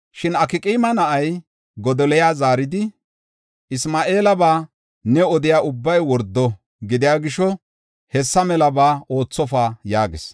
Shin Akqaama na7ay Godoliya zaaridi, “Isma7eelaba ne odiya ubbay wordo gidiya gisho hessa melaba oothofa” yaagis.